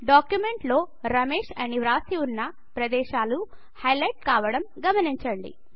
డాక్యుమెంట్లో రమేశ్ అని వ్రాసి వున్న ప్రదేశాలు హైలైట్ కావడం గమనించండి